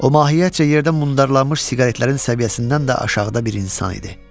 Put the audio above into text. O mahiyyətcə yerdə mundarlanmış siqaretlərin səviyyəsindən də aşağıda bir insan idi.